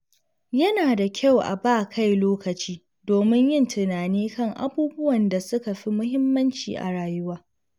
Yana da kyau a ba kai lokaci domin yin tunani kan abubuwan da suka fi muhimmanci a rayuwa.